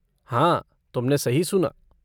हाँ, तुमने सही सुना।